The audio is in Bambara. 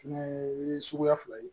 Fɛnɛ ye suguya fila ye